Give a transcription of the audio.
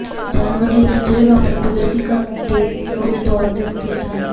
ਜਾਨਵਰ ਲਈ ਪਿੰਜਰੇ ਨੂੰ ਆਪਣੇ ਕੁਦਰਤੀ ਘਰ ਨੂੰ ਦੇ ਤੌਰ ਤੇ ਸਥਿਤ ਹਨ